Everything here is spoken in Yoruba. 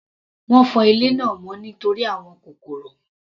Wọ́n fọ ilé náà mọ́ nítorí àwọn kòkòrò.